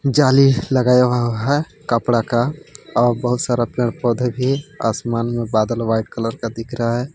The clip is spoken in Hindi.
जाली लगाया हुआ है कपड़ा का और बहुत सारा पेड़ पौधे भी आसमान में बादल व्हाइट कलर का दिख रहा है।